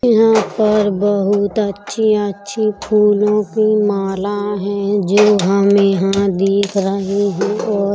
यहाँ पर बोहत अच्छी-अच्छी फूलों की माला हैजो हम यहां देख रहे हैं और--